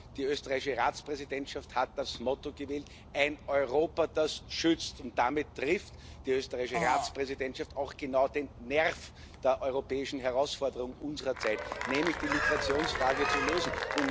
Die österreichische Ratspräsidentschaft hat das Motto gewählt Ein Europa, das schützt, und damit trifft die österreichische Ratspräsidentschaft auch genau den Nerv der europäischen Herausforderung unserer Zeit, nämlich die Migrationsfrage zu lösen.